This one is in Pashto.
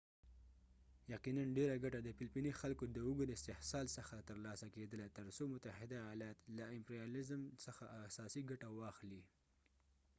یقیناً ډیره ګټه د فلپیني خلکو د اوږد استحصال څخه ترلاسه کیدله تر څو متحده ایالات له امپریالیزم څخه اساسي ګټه واخلي